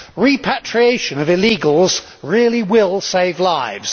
Repatriation of illegals really will save lives.